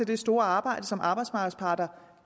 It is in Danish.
det store arbejde som arbejdsmarkedets parter